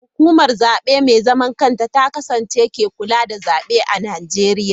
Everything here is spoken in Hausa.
Hukumar Zabe Mai Zaman Kanta ta Kasa (INEC) ce ke kula da zabe a Najeriya..